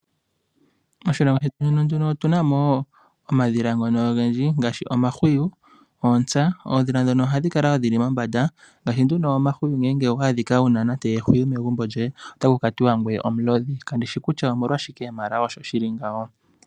Moshilongo shetu otuna mo omadhila ogendji, ngaashi omahwiyu nootsa. Oodhila ndhoka ohadhi kala dhili mombanda ngaashi omahwiyu. Ngele owa adhika wuna ehwiyu megumbo lyoye ohaku tiwa ngoye omulodhi.